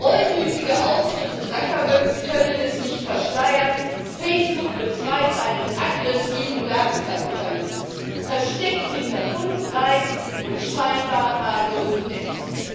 Reumütige Auftritte Zuckerbergs können es nicht verschleiern Facebook betreibt einen aggressiven Datenkapitalismus, versteckt hinter bunten und scheinbar harmlosen Apps.